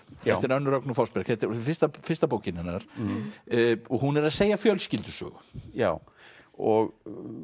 eftir Önnu Rögnu Fossberg fyrsta fyrsta bókin hennar og hún er að segja fjölskyldusögu já og